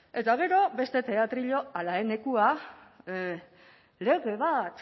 ezta eta gero beste teatrillo ala lege bat